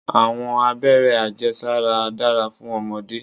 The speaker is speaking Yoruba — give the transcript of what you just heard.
Àwọn abéré ajé sára dára fún ọmọdé.